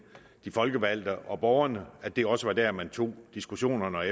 de folkevalgte og borgerne og at det også var der man tog diskussionerne og